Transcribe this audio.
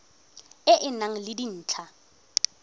e e nang le dintlha